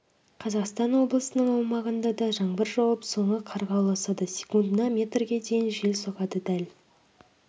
қазақстан облысының аумағында да жаңбыр жауып соңы қарға ұласады секундына метрге дейін жел соғады дәл